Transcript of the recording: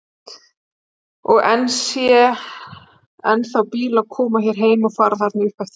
Og ég sé ennþá bíla koma hér heim og fara þarna upp eftir.